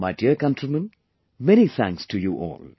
My dear countrymen, many thanks to you all